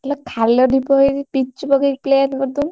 ଇଲୋ ଖାଲ ଢିପ ହେଇଛି, ପିଚୁ ପକେଇକି plain କରିଦଉନୁ।